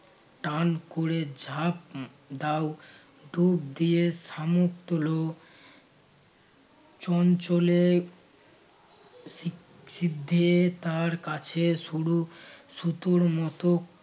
টান কোরে উম ঝাঁপ দাও ডুব দিয়ে শামুক তোলো চঞ্চল এ সি~ সিদ্ধে তার কাছে সরু সুতোর মতো